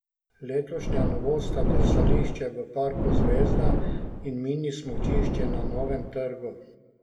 Letošnja novost sta drsališče v parku Zvezda in mini smučišče na Novem trgu.